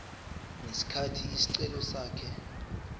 ngesikhathi isicelo sakhe